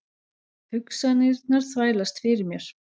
Hugsanirnar þvælast fyrir mér.